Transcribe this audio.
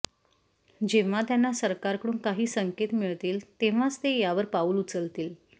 जेव्हा त्यांना सरकारकडून काही संकेत मिळतील तेव्हाच ते यावर पाऊल उचलतील